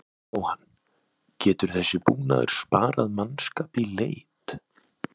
Jóhann: Getur þessi búnaður sparað mannskap í leit?